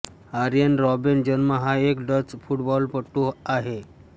Arjen Robben जन्म हा एक डच फुटबॉलपटू आहे